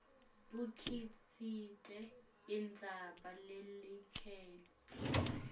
bukhicite indzaba leyakheke